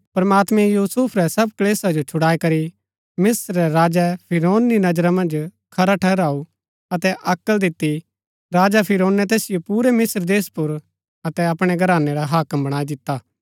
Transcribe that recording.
प्रमात्मैं यूसुफ रै सब क्‍लेशा जो छुड़ाईकरी मिस्त्र रै राजा फिरौन री नजरा मन्ज खरा ठहराऊ अतै अक्ल दिती राजा फिरौनै तैसिओ पुरै मिस्त्र देश पर अतै अपणै घरानै रा हाक्म बणाई दिता